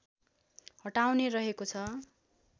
हटाउने रहेको छ